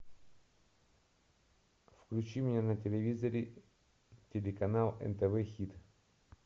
включи мне на телевизоре телеканал нтв хит